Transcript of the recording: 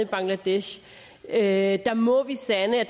bangladesh er jo at dem må vi sande at